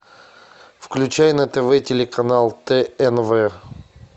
включай на тв телеканал тнв